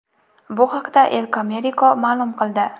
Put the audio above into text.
Bu haqda El Comercio ma’lum qildi .